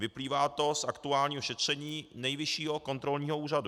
Vyplývá to z aktuálního šetření Nejvyššího kontrolního úřadu.